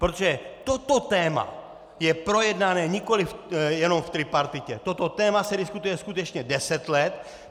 Protože toto téma je projednané nikoliv jenom v tripartitě, toto téma se diskutuje skutečně deset let.